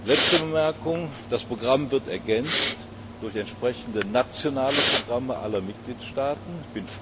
Letzte Bemerkung Das Programm wird durch entsprechende nationale Programme aller Mitgliedstaaten ergänzt.